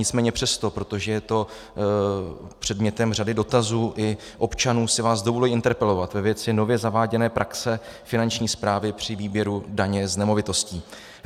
Nicméně přesto, protože je to předmětem řady dotazů i občanů, si vás dovoluji interpelovat ve věci nově zaváděné praxe Finanční správy při výběru daně z nemovitostí.